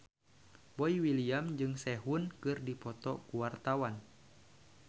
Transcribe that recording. Boy William jeung Sehun keur dipoto ku wartawan